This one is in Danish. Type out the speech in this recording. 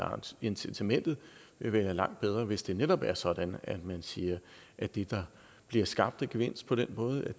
incitamentet vil være langt bedre hvis det netop er sådan at man siger at det der bliver skabt af gevinst på den måde